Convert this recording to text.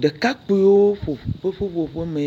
Ɖekakpuiwo ƒe ƒuƒoƒu me.